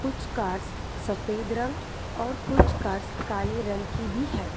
कुछ कार्स सफेद रंग और कुछ कार्स काले रंग की भी हैं।